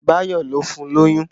Báyọ̀ ló fun lóyún